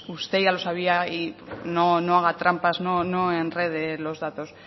bueno pues usted ya lo sabía no haga trampas no enrede los datos